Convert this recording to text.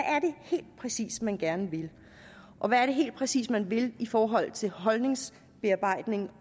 er det helt præcis man gerne vil og hvad er det helt præcis man vil i forhold til holdningsbearbejdning